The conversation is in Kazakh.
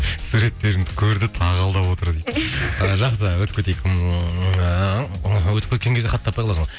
суреттерімді көрді тағы алдап отыр дейді жақсы өтіп кетейік өтіп кеткен кезде хат таппай қаласың